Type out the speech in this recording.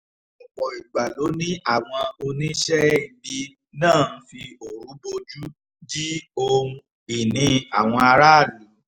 ọ̀pọ̀ ìgbà ló ní àwọn oníṣẹ́-ibì náà ń fi òru bojú ji ohun-ìní àwọn aráàlú